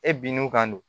E bin'u kan don